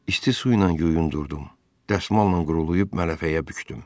İsti su ilə yuyundurdum, dəsmalla qurulayıb mələfəyə bükdüm.